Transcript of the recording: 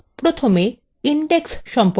প্রথমে indexes সম্পর্কে আলোচনা শুরু করা যাক